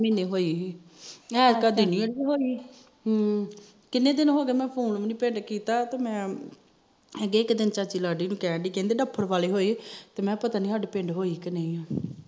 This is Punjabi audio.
ਮਹੀਨੇ ਹੋਈ ਹਮ ਕਿੰਨੇ ਦਿਨ ਹੋਗੇ ਮੈ ਫੋਨ ਵੀ ਨੀ ਪਿੰਡ ਕੀਤਾ ਇੱਕ ਦਿਨ ਚਾਚੀ ਲਾਡੀ ਨੂੰ ਕਹਿਣਡੀ ਕਹਿੰਦੀ ਤੇ ਮੈ ਕਿਹਾ ਮੈਨੂੰ ਪਤਾ ਨੀ ਸਾਡੇ ਪਿੰਡ ਹੋਈ ਕ ਨਹੀਂ ਹੋਈ